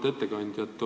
Auväärt ettekandja!